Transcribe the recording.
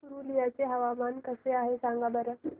पुरुलिया चे हवामान कसे आहे सांगा बरं